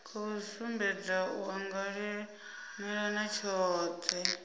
khou sumbedza u anganelana tshohe